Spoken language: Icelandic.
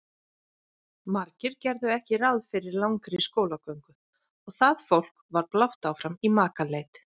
Margir gerðu ekki ráð fyrir langri skólagöngu og það fólk var blátt áfram í makaleit.